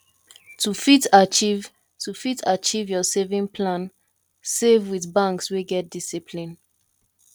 to fit achieve to fit achieve your saving plan save with banks wey get discipline